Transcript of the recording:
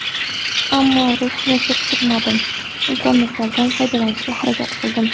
Ammo ruhimni cho‘ktirmadim, imkoniyatlardan foydalanishga harakat qildim.